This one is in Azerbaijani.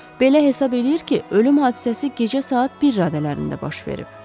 Belə hesab eləyir ki, ölüm hadisəsi gecə saat bir radələrində baş verib.